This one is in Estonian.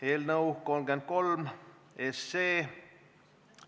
Eelnõu 33 SE ...